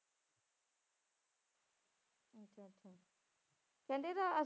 ਕਹਿੰਦੇ ਇਹਦਾ